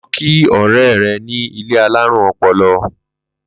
Lo̩ kí ò̩ré̩ ní ilé alárùn o̩po̩lo̩!